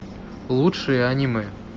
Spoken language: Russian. лучшие аниме